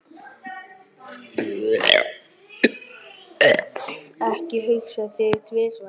Ekki hugsa þig tvisvar um.